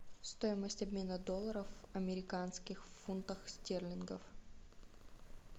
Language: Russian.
стоимость обмена долларов американских в фунтах стерлингов